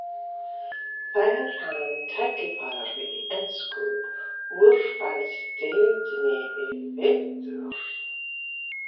Fær hann tækifæri í ensku úrvalsdeildinni í vetur?